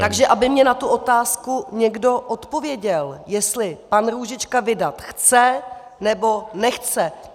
Takže aby mi na tu otázku někdo odpověděl, jestli pan Růžička vydat chce, nebo nechce.